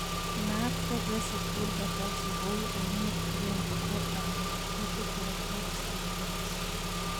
Naat progressive bulbar palsy kou ainet agenge nebo amyotrophic lateral sclerosis .